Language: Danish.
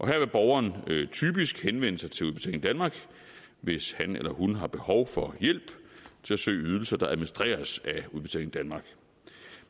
her vil borgeren typisk henvende sig til udbetaling danmark hvis han eller hun har behov for hjælp til at søge ydelser der administreres af udbetaling danmark